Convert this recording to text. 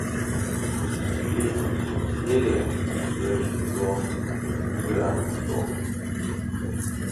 третья серия первый сезон игра престолов